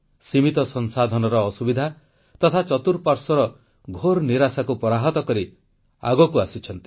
ସୀମିତ ସମ୍ବଳର ଅସୁବିଧା ତଥା ଚତୁଃପାଶ୍ୱର୍ର ଘୋର ନିରାଶାକୁ ପରାହତ କରି ଆଗକୁ ଆସିଛନ୍ତି